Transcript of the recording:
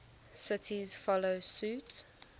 cities follow suit